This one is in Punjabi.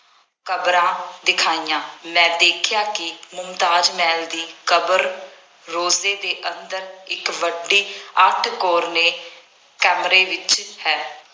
ਕਬਰਾਂ ਦਿਖਾਈਆਂ। ਮੈਂ ਦੇਖਿਆ ਕਿ ਮੁਮਤਾਜ ਮਹਿਲ ਦੀ ਕਬਰ ਰੋਜ਼ੇ ਦੇ ਅੰਦਰ ਇੱਕ ਵੱਡੀ ਅੱਠ ਕੋਰਨੇ ਕਮਰੇ ਵਿੱਚ ਹੈ।